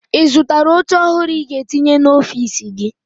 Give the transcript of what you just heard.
Ị zụtara oche ọhụrụ ị ga-etinye n'ọfiisi gị?